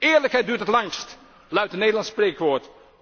Eerlijkheid duurt het langst, luidt een Nederlands spreekwoord.